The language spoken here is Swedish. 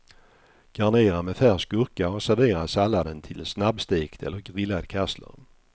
Garnera med färsk gurka och servera salladen till snabbstekt eller grillad kassler.